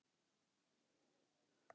Guð elur gesti.